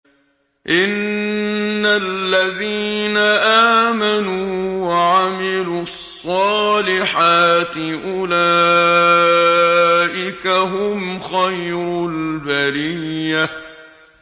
إِنَّ الَّذِينَ آمَنُوا وَعَمِلُوا الصَّالِحَاتِ أُولَٰئِكَ هُمْ خَيْرُ الْبَرِيَّةِ